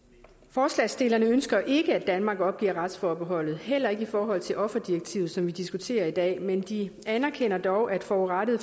forslagsstillerne ønsker ikke at danmark opgiver retsforbeholdet heller ikke i forhold til offerdirektivet som vi diskuterer i dag men de anerkender dog at forurettede